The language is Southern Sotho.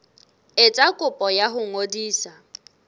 etsa kopo ya ho ngodisa